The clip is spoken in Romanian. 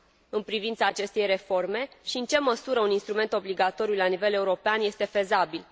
în privința acestei reforme și în ce măsură un instrument obligatoriu la nivel european este fezabil.